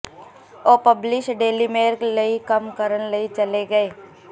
ਉਹ publish Daily Mirror ਲਈ ਕੰਮ ਕਰਨ ਲਈ ਚਲੇ ਗਏ